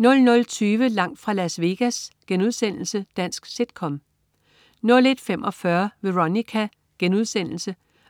00.20 Langt fra Las Vegas.* Dansk sit-com 01.45 Veronica.*